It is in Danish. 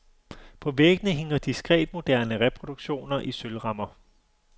På væggene hænger diskretmoderne reproduktioner i sølvrammer.